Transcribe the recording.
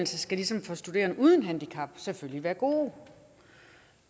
skal ligesom for studerende uden handicap selvfølgelig være gode